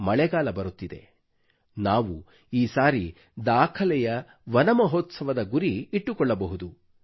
ಮಳೆಗಾಲ ಬರುತ್ತಿದೆ ನಾವು ಈ ಸಾರಿ ದಾಖಲೆಯ ವನಮಹೋತ್ಸವದ ಗುರಿ ಇಟ್ಟುಕೊಳ್ಳಬಹುದು